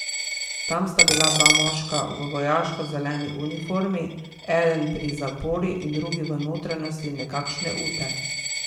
Tam sta bila dva moška v vojaško zeleni uniformi, eden pri zapori in drugi v notranjosti nekakšne ute.